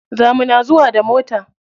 Za muna zuwa da mota.